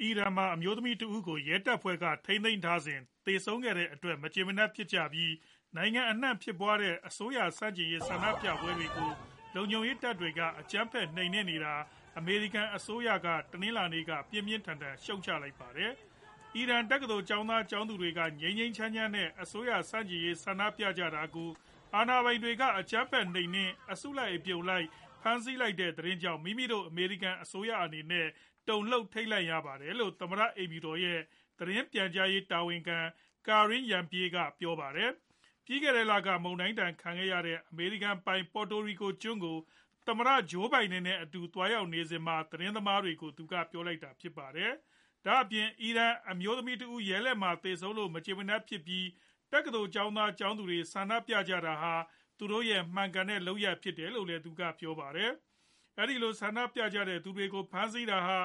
အီရန်မှာ အမျိုးသမီးတဦး ကို ရဲတွေက ဖမ်းဆီးထိန်းသိမ်းထားစဉ် သေဆုံးခဲ့ရတဲ့အတွက် မကျေမနပ်ဖြစ်ပြီး နိုင်ငံအနှံ့ ဖြစ်ပွားနေတဲ့ အစိုးရ ဆန့်ကျင်ရေး ဆန္ဒပြပွဲတွေကို လုံခြုံရေးတပ်ဖွဲ့တွေက အကြမ်းဖက် နှိမ်နင်းနေတာကို အမေရိကန် အစိုးရက တနင်္လာနေ့က ပြင်းပြင်းထန်ထန် ဝေဖန် ရှုတ်ချလိုက်ပါတယ်။ အီရန် တက္ကသိုလ်ကျောင်းသား၊ ကျောင်းသူတွေ က ငြိမ်းငြိမ်းချမ်းချမ်း နဲ့ အစိုးရဆန့်ကျင်ရေး ဆန္ဒပြနေကြတာကို အာဏာပိုင်တွေက အကြမ်းဖက် နှိမ်နင်း အစုလိုက် အပြုံလိုက် ဖမ်းဆီး လိုက်တဲ့ သတင်းကြောင့် မိမိတို့ အမေရိကန် အစိုးရအနေနဲ့ တုံလှုပ် ထိတ်လန့်ရပါတယ်လို့ သမ္မတ အိမ်ဖြူတော် ရဲ့ သတင်းပြန်ကြားရေး တာဝန်ခံ Karine Jean-Pierre က ပြောပါတယ်။ ပြီးခဲ့တဲ့လက မုန်တိုင်းဒဏ် ခံခဲ့ရတဲ့ အမေရိကန်ပိုင် Puerto Rico ကျွန်းကို သမ္မတ Joe Biden နဲ့အတူ သွားရောက်နေစဉ်မှာ သတင်းသမားတွေကို သူက ပြောလိုက်တာဖြစ်ပါတယ်။ ဒါအပြင် အီရန် အမျိုးသမီးတဦး ရဲလက်မှာ သေဆုံးလို့ မကျေမနပ်ဖြစ်ပြီး တက္ကသိုလ်ကျောင်းသား ၊ ကျောင်းသူတွေ က ဆန္ဒပြကြတာဟာ သူတို့ရဲ့ မှန်ကန်တဲ့လုပ်ရပ်ဖြစ်တယ်လို့လည်း သူက ပြောပါတယ်။ အဲဒီလို ဆန္ဒပြကြတဲ့သူတွေကို ဖမ်းဆီးတာဟာ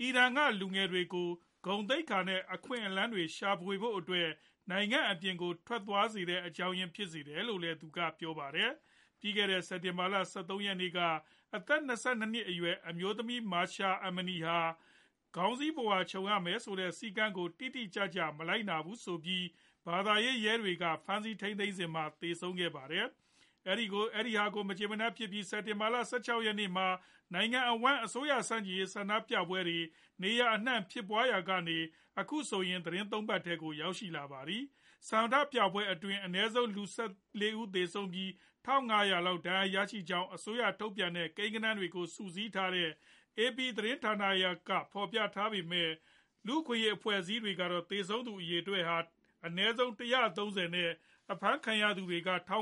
အီရန်က လူငယ်တွေကို ဂုဏ်သိက္ခာ နဲ့ အခွင့်အလမ်းတွေ ရှာဖွေဖို့အတွက် နိုင်ငံအပြင်ကို ထွက်ခွာသွားစေတဲ့ အကြောင်းအရင်း ဖြစ်စေတယ်လို့လည်း သူက ပြောပါတယ်။ ပြီးခဲ့တဲ့ စက်တင်ဘာလ ၁၃ ရက်နေ့က အသက် ၂၂ နှစ်အရွယ် အမျိုးသမီး Mahsa Amini ဟာ ခေါင်းစည်းပုဝါခြုံရမယ့် စည်းကမ်းကို တိတိကျကျ မလိုက်နာဘူးဆိုပြီး ဘာသာရေး ရဲတွေက ဖမ်းဆီးထိန်းသိမ်းခဲ့စဉ်မှာ သေဆုံးခဲ့ပါတယ်။ အဲဒါကို မကြေမနပ်ဖြစ်ကြပြီး စက်တင်ဘာ ၁၆ ရက်နေ့မှာ နိုင်ငံအဝှမ်း အစိုးရဆန့်ကျင်ရေး ဆန္ဒပြပွဲတွေ နေရာအနှံဖြစ်ပွားခဲ့ရာကနေ အခုဆိုရင် သီတင်း ၃ ပတ်ထဲကို ရောက်ရှိလာပါတယ်။ ဆန္ဒပြပွဲတွေအတွင်း အနည်းဆုံး လူ ၁၄ ဦးသေဆုံးပြီး ၁ ၅ဝဝ လောက် ဒဏ်ရာရရှိကြကြောင်း အစိုးရက ထုတ်ပြန်တဲ့ ကိန်းဂဏန်းတွေကို စုစည်းထားတဲ့ AP သတင်းဌာနက ဖော်ပြခဲ့ပေမဲ့ လူ့အခွင့်အရေးအဖွဲ့အစည်းတွေကတော့ သေဆုံးသူက အနည်းဆုံး ၁၃ဝ နဲ့ အဖမ်းခံရသူတွေက ထောင်